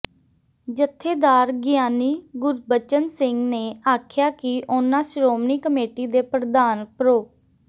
ਜਥੇਦਾਰ ਗਿਆਨੀ ਗੁਰਬਚਨ ਸਿੰਘ ਨੇ ਆਖਿਆ ਕਿ ਉਨ੍ਹਾਂ ਸ਼੍ਰੋਮਣੀ ਕਮੇਟੀ ਦੇ ਪ੍ਰਧਾਨ ਪ੍ਰੋ